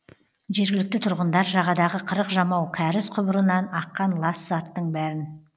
жергілікті тұрғындар жағадағы қырық жамау кәріз құбырынан аққан лас заттың бәрін